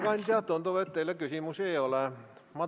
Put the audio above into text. Juhtivkomisjon on teinud ettepaneku eelnõu 302 esimene lugemine lõpetada.